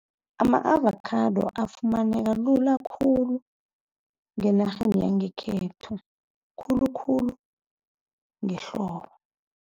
Ama-avakhado afumaneka lula khulu ngenarheni yangekhethu khulukhulu ehlobo.